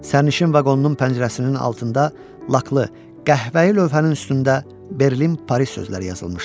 Sərnişin vaqonunun pəncərəsinin altında laklı, qəhvəyi lövhənin üstündə Berlin, Paris sözləri yazılmışdı.